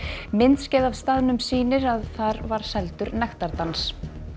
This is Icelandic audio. myndskeið af staðnum sýnir að þar var seldur nektardans